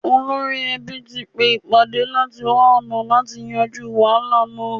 Olórí ẹbí tí pé ìpàdé láti wá ̀ọ̀nà àti yanjú wàhálà náà